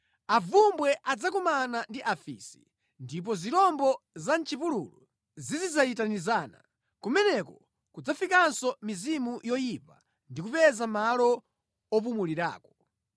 Avumbwe adzakumana ndi afisi, ndipo zirombo za mʼchipululu zizidzayitanizana. Kumeneko kudzafikanso mizimu yoyipa ndi kupeza malo opumulirako.